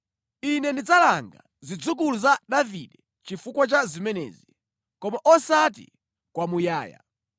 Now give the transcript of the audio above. Ine ndidzalanga zidzukulu za Davide chifukwa cha zimenezi, koma osati kwamuyaya.’ ”